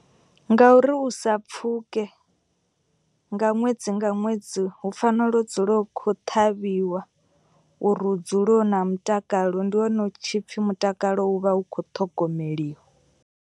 Ngauri u sa pfuke nga ṅwedzi nga ṅwedzi hu fanela u dzula hu kho ṱhavhiwa. Uri hu dzule hu na mutakalo ndi hone hu tshipfi mutakalo u vha u kho ṱhogomeliwa.